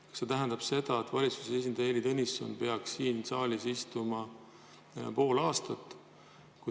Kas see tähendab seda, et valitsuse esindaja Heili Tõnisson peaks siin saalis istuma pool aastat?